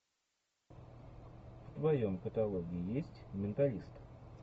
в твоем каталоге есть менталист